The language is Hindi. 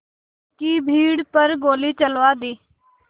की भीड़ पर गोली चलवा दी